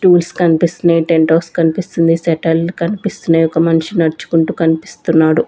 Tools కనిపిస్తున్నాయి టెంటాస్ కనిపిస్తుంది సెటల్ కనిపిస్తున్నాయి ఒక మనిషి నడుచుకుంటూ కనిపిస్తున్నాడు.